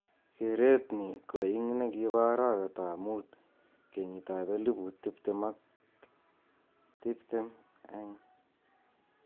Keret ni ko ing nekipo arawet ap mut kenyit ap eliput tiptim ak tiptim eng s